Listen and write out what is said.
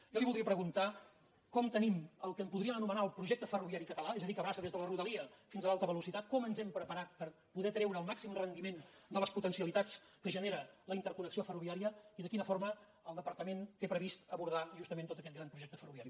jo li voldria preguntar com tenim el que en podríem anomenar el projecte ferroviari català és a dir que abraça des de la rodalia fins a l’alta velocitat com ens hem preparat per poder treure el màxim rendiment de les potencialitats que genera la interconnexió ferroviària i de quina forma el departament té previst abordar justament tot aquest gran projecte ferroviari